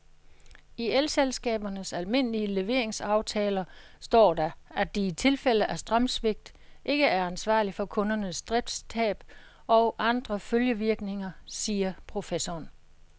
I elselskabernes almindelige leveringsaftaler står der, at de i tilfælde af strømsvigt ikke er ansvarlig for kundernes driftstab og andre følgevirkninger, siger professoren.